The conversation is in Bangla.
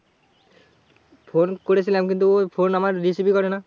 ফোন করেছিলাম কিন্তু ওর ফোন আমার receive ই করে না।